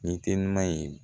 Ni telima ye